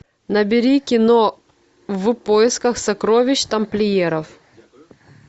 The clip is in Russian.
набери кино в поисках сокровищ тамплиеров